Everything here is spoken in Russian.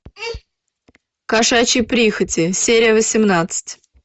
кошачьи прихоти серия восемнадцать